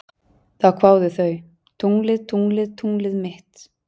Þá kváðu þau: Tunglið, tunglið, tunglið mitt